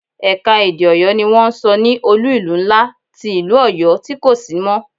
Ẹ̀ka-èdè Ọyọ ni wọ́n ń sọ ní olú-ìlú ńlá ti ìlú Ọyọ tí kò sí mọ́.